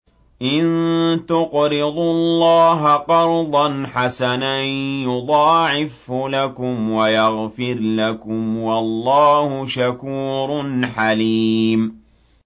إِن تُقْرِضُوا اللَّهَ قَرْضًا حَسَنًا يُضَاعِفْهُ لَكُمْ وَيَغْفِرْ لَكُمْ ۚ وَاللَّهُ شَكُورٌ حَلِيمٌ